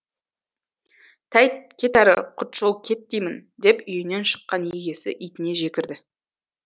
тәйт кет әрі құтжол кет деймін деп үйінен шыққан егесі итіне жекірді